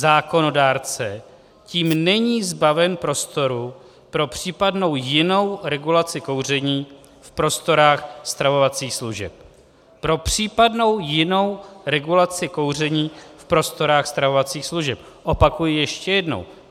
Zákonodárce tím není zbaven prostoru pro případnou jinou regulaci kouření v prostorách stravovacích služeb - Pro případnou jinou regulaci kouření v prostorách stravovacích služeb, opakuji ještě jednou.